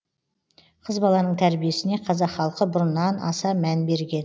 қыз баланың тәрбиесіне қазақ халқы бұрыннан аса мән берген